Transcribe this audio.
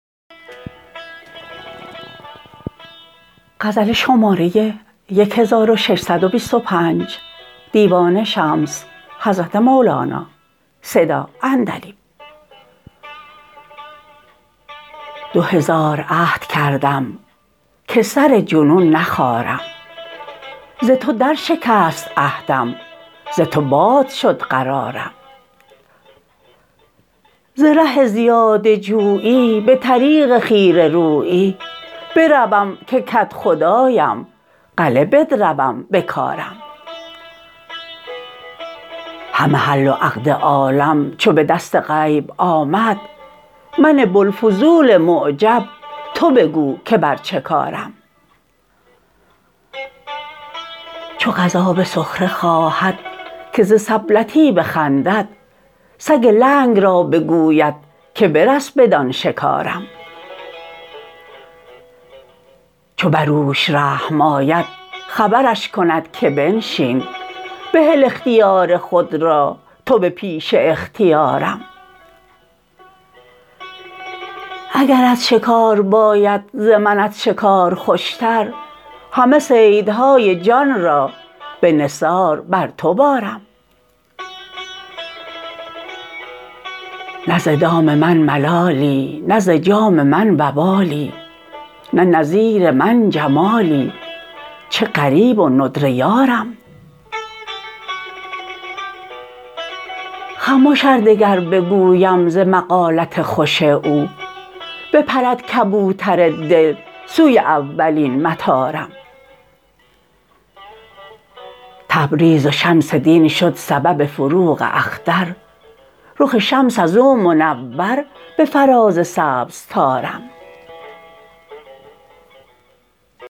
دو هزار عهد کردم که سر جنون نخارم ز تو درشکست عهدم ز تو باد شد قرارم ز ره زیاده جویی به طریق خیره رویی بروم که کدخدایم غله بدروم بکارم همه حل و عقد عالم چو به دست غیب آمد من بوالفضول معجب تو بگو که بر چه کارم چو قضا به سخره خواهد که ز سبلتی بخندد سگ لنگ را بگوید که برس بدان شکارم چو بر اوش رحم آید خبرش کند که بنشین بهل اختیار خود را تو به پیش اختیارم اگرت شکار باید ز منت شکار خوشتر همه صیدهای جان را به نثار بر تو بارم نه ز دام من ملالی نه ز جام من وبالی نه نظیر من جمالی چه غریب و ندره یارم خمش ار دگر بگویم ز مقالت خوش او بپرد کبوتر دل سوی اولین مطارم تبریز و شمس دین شد سبب فروغ اختر رخ شمس از او منور به فراز سبز طارم